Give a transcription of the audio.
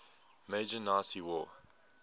major nazi war